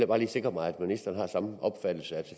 bare lige sikre mig at ministeren har samme opfattelse